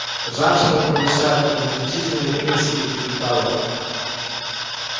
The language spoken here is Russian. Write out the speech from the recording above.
ржавчина не помешает как и незначительные примеси других металлов